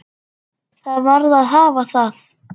Það varð að hafa það.